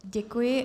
Děkuji.